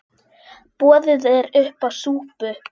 Boðið er uppá súpu.